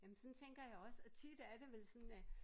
Jamen sådan tænker jeg også og tit er det vel sådan at